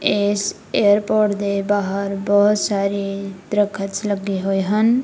ਇਸ ਏਅਰਪੋਰਟ ਦੇ ਬਾਹਰ ਬਹੁਤ ਸਾਰੇ ਦਰਖਤਸ ਲੱਗੇ ਹੋਏ ਹਨ।